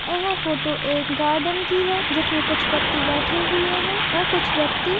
यह फोटो एक गार्डन की है जिसमे कुछ व्यक्ति बैठे हुए है और कुछ व्यक्ति--